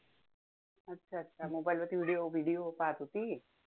अच्छा! अच्छा! mobile वरती video video पाहत होती?